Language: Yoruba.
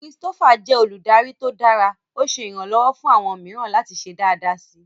Christopher jẹ oludari to dara, o ṣe iranlọwọ fun awọn miiran lati ṣe daadaa si